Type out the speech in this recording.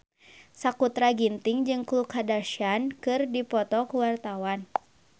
Sakutra Ginting jeung Khloe Kardashian keur dipoto ku wartawan